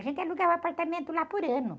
A gente alugava apartamento lá por ano.